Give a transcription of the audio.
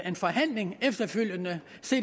en forhandling efterfølgende